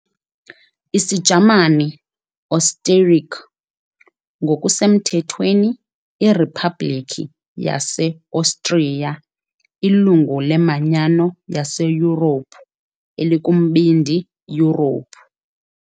IsiJamani, "Österreich", ngokusemthethweni iRiphabhlikhi yaseOstriya ilungu leManyano yaseYurophu, elikuMbindi Yurophu.